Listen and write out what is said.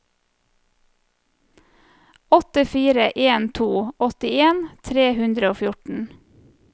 åtte fire en to åttien tre hundre og fjorten